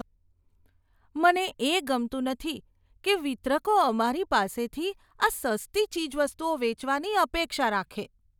મને એ ગમતું નથી કે વિતરકો અમારી પાસેથી આ સસ્તી ચીજવસ્તુઓ વેચવાની અપેક્ષા રાખે.